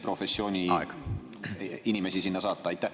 … professiooni inimesi sinna saata?